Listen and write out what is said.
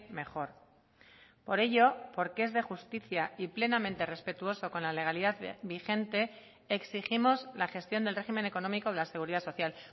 mejor por ello porque es de justicia y plenamente respetuoso con la legalidad vigente exigimos la gestión del régimen económico de la seguridad social